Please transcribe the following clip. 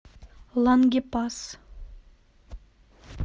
лангепас